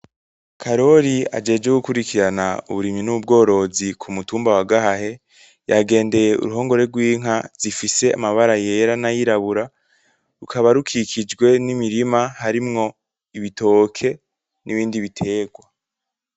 Karori ajejwe gukurikirana uburimyi n'ubgorozi ku mutumba wa Gahahe yagendeye uruhongore rw'inka zifise amabara yera n'ayirabura, rukaba rukikijwe n'imirima harimwo ibitoke, nibindi bitegwa